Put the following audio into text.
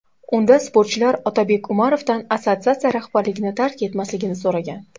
Unda sportchilar Otabek Umarovdan assotsiatsiya rahbarligini tark etmasligini so‘ragan.